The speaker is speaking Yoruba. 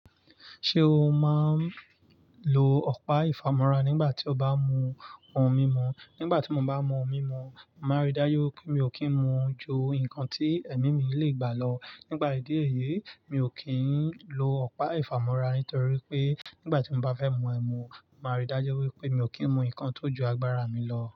Ṣé o máa ń lo ọ̀pá ìfamọ́ra nígbà tí o bá mú ohun mímu? Nígbà tí mo bá mú ohun mímu, màá rí dájú pé mi ò kí ń mú ju nǹkan tí ẹ̀mí mi lè gbà lọ. Nípà ìdí èyí, mi ò kí ń lo ọ̀pá ìfamọ́ra, nítorí pé nígbà tí mo bá fẹ́ mú ẹmu, màá rí dájú wípé mi ò kí ń mú nnkan tó ju agbára mi lọ.